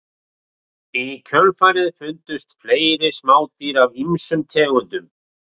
Í kjölfarið fundust fleiri smádýr af ýmsum tegundum.